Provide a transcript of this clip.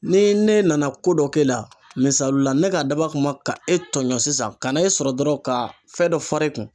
Ni ne nana ko dɔ k'e la misalula ne ka dab'a kama ka e tɔɲɔn sisan ka na e sɔrɔ dɔrɔn ka fɛn dɔ far'e kun.